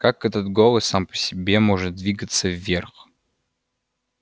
как этот голос сам по себе может двигаться вверх